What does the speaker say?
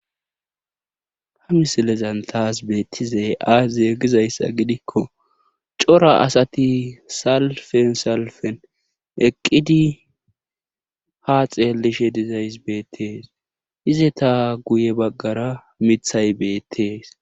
Ha misilezan tas beettizay aaze gizayssa gidikko cora asati salfen salfen eqqidi haa xeellishe dizaysi beettes izeta guye baggara mithay beettes.